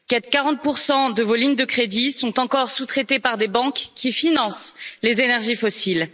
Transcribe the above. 40 pour cent de vos lignes de crédit sont encore sous traités par des banques qui financent les énergies fossiles.